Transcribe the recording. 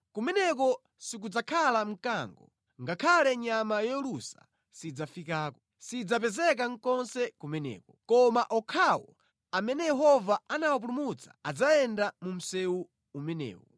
Kumeneko sikudzakhala mkango, ngakhale nyama yolusa sidzafikako; sidzapezeka konse kumeneko. Koma okhawo amene Yehova anawapulumutsa adzayenda mu msewu umenewu.